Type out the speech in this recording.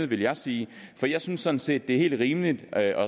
vil jeg sige for jeg synes sådan set det er helt rimeligt at